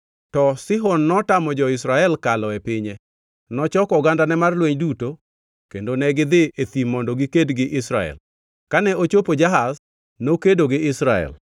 To Sihon notamo jo-Israel kalo e pinye. Nochoko ogandane mar lweny duto kendo negidhi e thim mondo giked gi Israel. Kane ochopo Jahaz, nokedo gi Israel.